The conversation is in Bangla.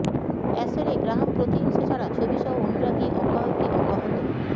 অ্যাশলে গ্রাহাম প্রতিহিংসা ছাড়া ছবি সহ অনুরাগী অব্যাহতি অব্যাহত